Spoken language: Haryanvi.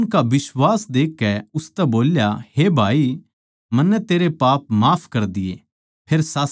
उसनै उनका बिश्वास देखकै उसतै बोल्या हे भाई मन्नै तेरे पाप माफ कर दिये